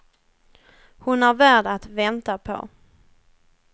Hon är värd att vänta på.